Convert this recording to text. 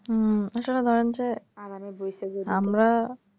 হম আসলে ধরেন যে আমরা